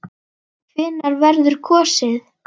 Hvenær verður kosið?